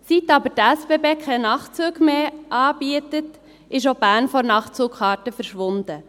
Seit aber die SBB keine Nachtzüge mehr anbieten, ist auch Bern von der Nachtzugkarte verschwunden.